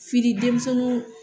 Fili denmisɛniw